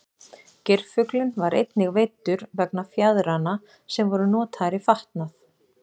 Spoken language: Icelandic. Geirfuglinn var einnig veiddur vegna fjaðranna sem voru notaðar í fatnað.